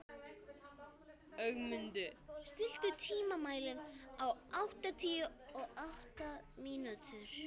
Ögmunda, stilltu tímamælinn á áttatíu og átta mínútur.